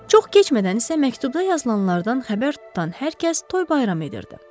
Çox keçmədən isə məktubda yazılanlardan xəbər tutan hər kəs toy bayram edirdi.